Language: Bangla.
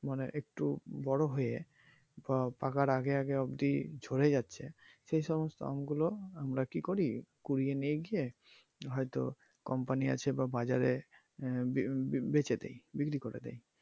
মানে একটু বড় হয়ে বা পাকার আগে আগে অবদি ঝড়ে যাচ্ছে সে সমস্ত আমগুলো আমরা কি করি কুড়িয়ে নিয়ে গিয়ে হয়তো company আছে বা বাজারে আহ বেচে দেই বিক্রি করে দেই।